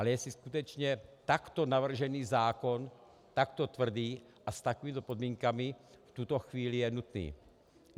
Ale jestli skutečně takto navržený zákon, takto tvrdý a s takovými podmínkami v tuto chvíli je nutný.